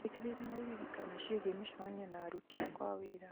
njĩkĩrĩra o iririkano ciĩgiĩ mĩcemanio na aruti akwa a wĩra